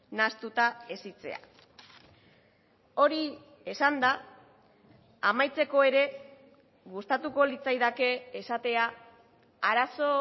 nahastuta hezitzea hori esanda amaitzeko ere gustatuko litzaidake esatea arazo